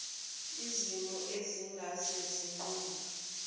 zimo ezingase zinqunywe